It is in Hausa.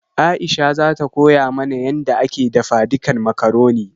Aisha zata koya mana yanda ake dafadikan makaroni